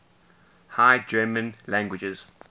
high german languages